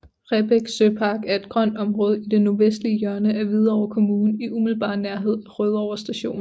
Rebæk Søpark er et grønt område i det nordvestlige hjørne af Hvidovre Kommune i umiddelbar nærhed af Rødovre Station